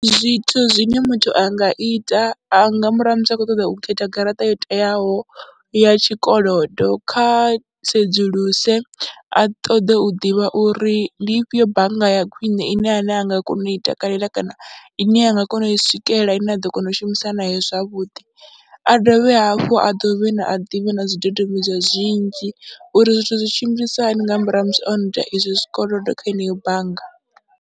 Zwithu zwine muthu a nga ita, a nga murahu ha musi a khou ṱoḓa u khetha garaṱa yo teaho ya tshikolodo, kha sedzuluse a ṱoḓe u ḓivha uri ndi ifhio bannga ya khwine ine ane a nga kona u i takalela kana ine a nga kona u i swikelela, ine a ḓo kona u shumisa nayo zwavhuḓi. A dovhe hafhu a dovhe na a ḓivhe na zwidodombedzwa zwinzhi uri zwithu zwi tshimbilisa hani nga murahu ha musi o no ita izwi zwikolodo kha heneyo bannga.